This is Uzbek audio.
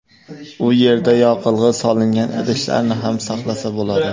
U yerda yoqilg‘i solingan idishlarni ham saqlasa bo‘ladi.